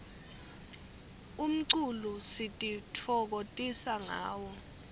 umculo sititfokotisa ngawo